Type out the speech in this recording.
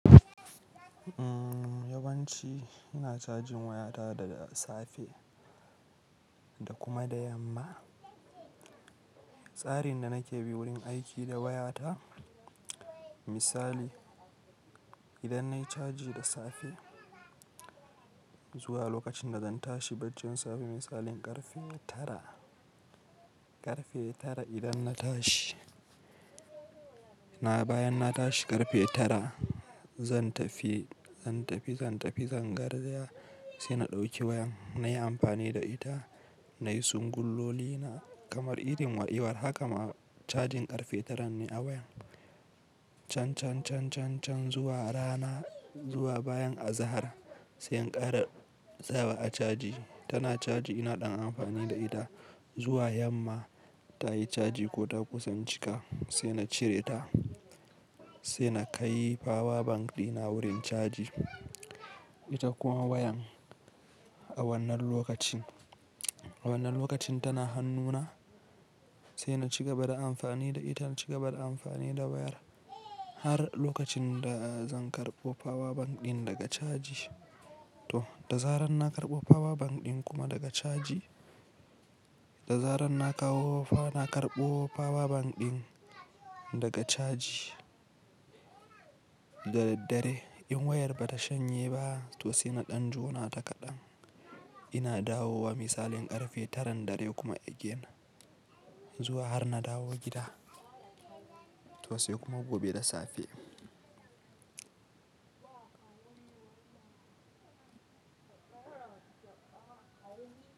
Yawanci ina cajin wayata da safe da kuma da yamma. Tsarin da nake bi wurin aiki da wayata, misali idan nayi caji da safe zuwa lokacin da zan tashi baccin sami misalin karfe tara. Karfe tara idan na tashi, na bayan na tashi karfe tara zan tafi, zan tafi, zan tafi, zan garzaya sai na ɗauki wayan nayi amfani da ita na yi singulloli na kamar irin wa haka ma cajin karfe taran ne a wayan. Chan chan chan chan chan zuwa rana zuwa bayan azahar sai in kara sawa a caji tana caji ina ɗan amfani da ita juwa yamma tayi chaji ko ta kusan cika sai na cire ta sai na kai power bank ɗina wurin caji ita kuma wayan a wannan lokacin, a wannan lokacin tana hannuna sai na cigaba da amfani da ita cigaba da amfani da wayar har lokacin da zan karɓo power bank ɗin daga caji. To da zarar na karɓo power bank ɗin kuma daga caji, da zarar na kawo na karɓo power bank ɗin daga caji. Da daddare in wayar bata shanye ba to sai mu ɗan jona ta kaɗan ina dawo wa misalin karfe taran dare kuma again zuwa har na dawo gida to sai kuma gobe da safe.